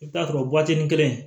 I bɛ t'a sɔrɔ waatinin kelen